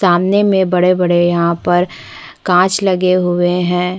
सामने में बड़े - बड़े यहाँ पर कांच लगे हुए है।